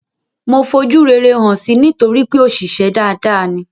Mo fojú rere hàn si nítorípé òṣìṣę dada ni.